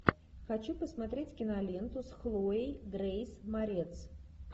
хочу посмотреть киноленту с хлоей грейс морец